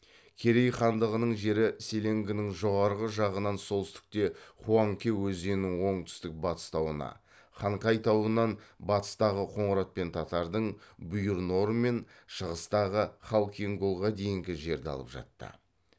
керей хандығының жері селенгінің жоғарғы жағынан солтүстікте хуанке өзенінің оңтүстік батыстауына хангай тауынан батыстағы қоңырат пен татардың бұйыр нор мен шығыстағы халкин голға дейінгі жерді алып жатты